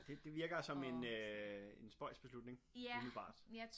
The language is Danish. Det det virker som en øh en spøjs beslutning umiddelbart